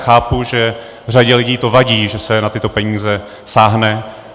Chápu, že řadě lidí to vadí, že se na tyto peníze sáhne.